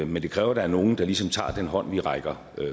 men det kræver at der er nogen der ligesom tager den hånd vi rækker